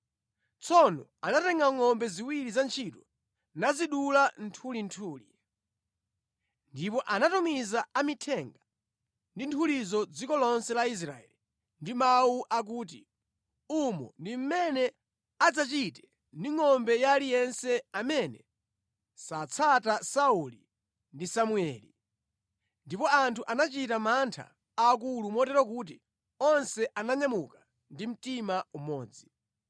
Tsono anatenga ngʼombe ziwiri za ntchito, nazidula nthulinthuli. Ndipo anatumiza amithenga ndi nthulizo dziko lonse la Israeli ndi mawu akuti, “Umo ndi mmene adzachite ndi ngʼombe ya aliyense amene satsata Sauli ndi Samueli.” Ndipo anthu anachita mantha aakulu motero kuti onse ananyamuka ndi mtima umodzi.